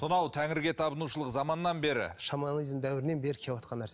сонау тәңірге табынушылық заманнан бері шаманизм дәуірінен бері кеватқан нәрсе